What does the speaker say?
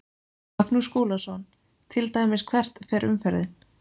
Magnús Skúlason: Til dæmis hvert fer umferðin?